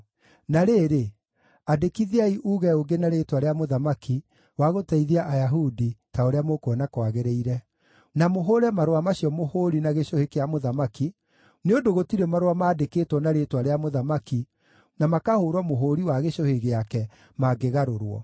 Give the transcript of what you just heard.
Na rĩrĩ, andĩkithiai uuge ũngĩ na rĩĩtwa rĩa mũthamaki wa gũteithia Ayahudi ta ũrĩa mũkuona kwagĩrĩire, na mũhũũre marũa macio mũhũũri na gĩcũhĩ kĩa mũthamaki, nĩ ũndũ gũtirĩ marũa mandĩkĩtwo na rĩĩtwa rĩa mũthamaki na makahũũrwo mũhũũri wa gĩcũhĩ gĩake mangĩgarũrwo.”